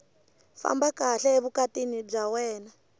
famba kahle evukatini bya wena